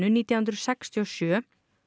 nítján hundruð sextíu og sjö